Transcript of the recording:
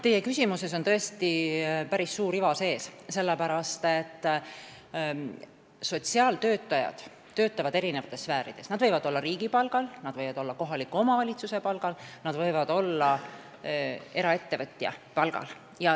Teie küsimuses on tõesti päris suur iva sees, sellepärast et sotsiaaltöötajad töötavad eri sfäärides: nad võivad olla riigi palgal, nad võivad olla kohaliku omavalitsuse palgal, nad võivad olla eraettevõtja palgal.